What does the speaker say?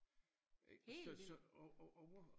Helt vildt!